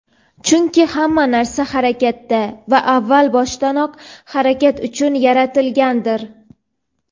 Chunki hamma narsa harakatda va avval boshdanoq harakat uchun yaratilgandir.